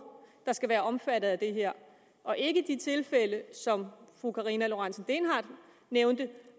der skal være omfattet af det her og ikke de tilfælde som fru karina lorentzen dehnhardt nævnte